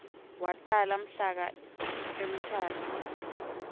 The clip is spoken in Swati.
watala mhlaka emthatha